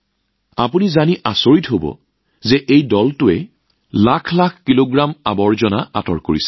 আপোনালোকে জানি আচৰিত হব যে এই দলটোৱে লাখ লাখ কিলো জাবৰ পৰিষ্কাৰ কৰিছে